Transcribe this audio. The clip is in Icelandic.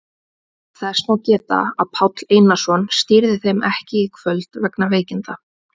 Þess má geta að Páll Einarsson stýrði þeim ekki í kvöld vegna veikinda.